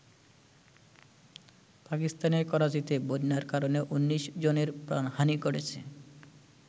পাকিস্তানের করাচীতে বন্যার কারণে ১৯ জনের প্রাণহানি ঘটেছে।